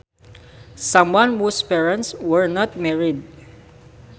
Someone whose parents were not married